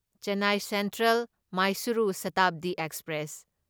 Chennai central Mysuru Shatabdi express